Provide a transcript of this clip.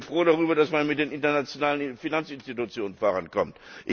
Ich bin froh darüber, dass man mit den internationalen Finanzinstitutionen vorankommt.